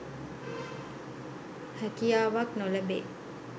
හැකියාවක් නො ලැබේ.